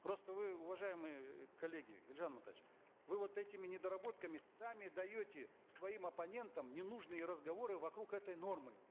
просто вы уважаемые коллеги елжан амантаевич вы вот этими недоработками сами даете своим оппонентам ненужные разговоры вокруг этой нормы